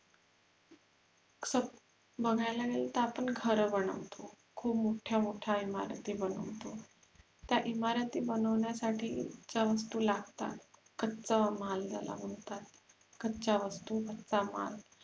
बघायला गेल तर आपण घर बनवतो खूप मोठ्या मोठ्या इमारती बनवतो त्या इमारती बनवण्यासाठी ज्या वस्तु लागतात कच्चा माल ज्याला म्हणातात कच्या वस्तु कच्चा माल